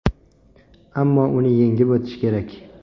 Ammo uni yengib o‘tish kerak.